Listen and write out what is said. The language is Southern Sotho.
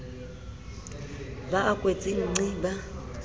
ba a kwetse nqi ba